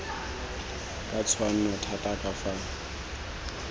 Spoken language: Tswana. ka tshwanno thata ka fa